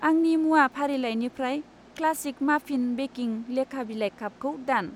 आंनि मुवा फारिलाइनिफ्राय क्लासिक माफिन बेकिं लेका बिलाइ कापखौ दान।